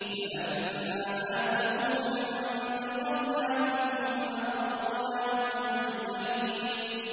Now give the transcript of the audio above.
فَلَمَّا آسَفُونَا انتَقَمْنَا مِنْهُمْ فَأَغْرَقْنَاهُمْ أَجْمَعِينَ